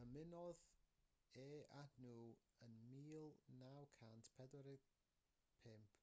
ymunodd e â nhw ym 1945